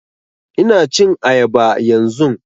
Ina cin ayaba yanzun